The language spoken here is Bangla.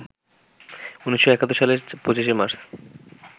১৯৭১ সালের ২৫শে মার্চ